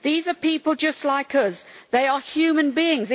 These are people just like us they are human beings.